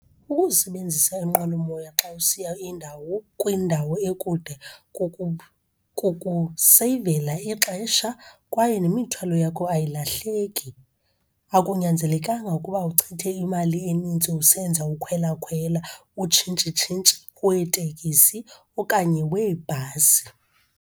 Ukusebenzisa inqwelomoya xa usiya indawo kwindawo ekude kukuseyivela ixesha kwaye nemithwalo yakho ayilahleki. Akunyanzelekanga ukuba uchithe imali enintsi usenza ukhwelakhwela, utshintshitshintshi weetekisi okanye weebhasi.